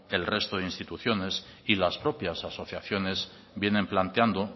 el resto de instituciones y las propias asociaciones vienen planteando